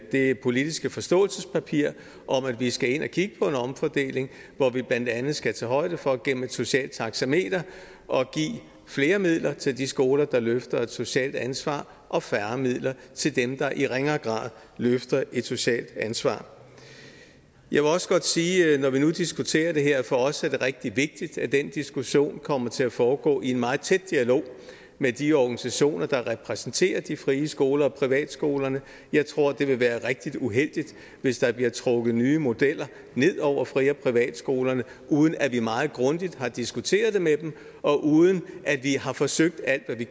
det politiske forståelsespapir om at vi skal ind at kigge på en omfordeling hvor vi blandt andet skal tage højde for gennem et socialt taxameter at give flere midler til de skoler der løfter et socialt ansvar og færre midler til dem der i ringere grad løfter et socialt ansvar jeg vil også godt sige når vi nu diskuterer det her at for os er det rigtig vigtigt at den diskussion kommer til at foregå i en meget tæt dialog med de organisationer der repræsenterer de frie skoler og privatskolerne jeg tror det vil være rigtig uheldigt hvis der bliver trukket nye modeller ned over fri og privatskolerne uden at vi meget grundigt har diskuteret det med dem og uden at vi har forsøgt alt hvad vi